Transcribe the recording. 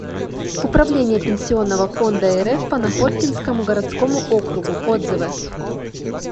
управление пенсионного фонда рф по находкинскому городскому округу отзывы